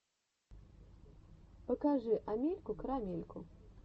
покажи амельку карамельку